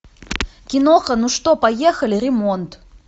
киноха ну что поехали ремонт